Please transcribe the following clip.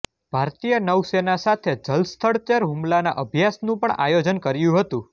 ભારતીય નૌસેના સાથે જલસ્થળચર હુમલાના અભ્યાસનું પણ આયોજન કર્યું હતું